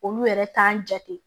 Olu yɛrɛ t'an jate